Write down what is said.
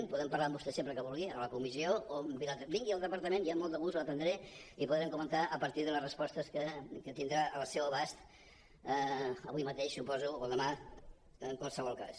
en podem parlar amb vostè sempre que ho vulgui a la comissió o vingui al departament i amb molt de gust l’atendré i podrem comentar a partir de les respostes que tindrà al seu abast avui mateix suposo o demà en qualsevol cas